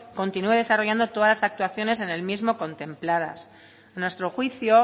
continúe desarrollando todas las actuaciones en el mismo contempladas a nuestro juicio